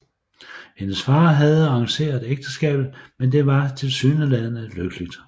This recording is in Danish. Hendes far havde arrangeret ægteskabet men det var tilsyneladende lykkeligt